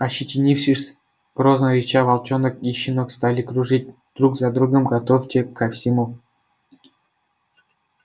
ощетинившись и грозно рыча волчонок и щенок стали кружить друг за другом готовьте ко всему